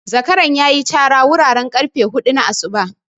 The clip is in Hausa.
Zakaran ya yi cara wuraren ƙarfe hudu na asuba.